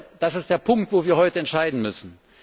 Und das ist der Punkt, wo wir heute entscheiden müssen.